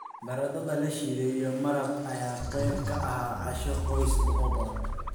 Baradhada la shiiday iyo maraqa ayaa qayb ka ah casho qoys oo badan.